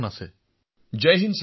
প্ৰধানমন্ত্ৰীঃ জয় হিন্দ